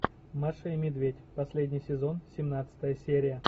маша и медведь последний сезон семнадцатая серия